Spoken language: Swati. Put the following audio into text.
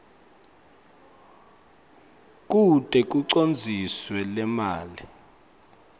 kute kucondziswe lemali